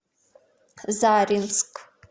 заринск